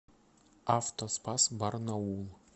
автоспас барнаул